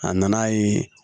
A nana ye